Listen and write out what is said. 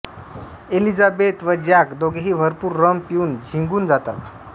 Elizabeth व Jack दोघेही भरपूर रम पिउन झिंगून जातात